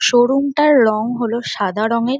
Showroom -টার রঙ হল সাদা রঙের।